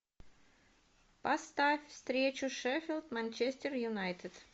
поставь встречу шеффилд манчестер юнайтед